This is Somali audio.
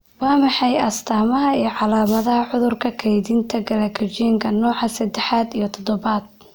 Waa maxay astamaha iyo calaamadaha cudurka kaydinta Glycogenka nooca sedex iyo tobnaad?